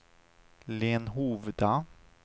Lenhovda